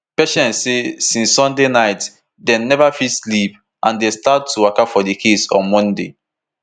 patience say since sunday night dem neva fit sleep and dem start to waka for di case on monday